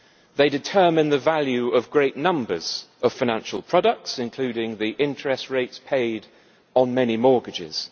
They determine the value of great numbers of financial products, including the interest rates paid on many mortgages.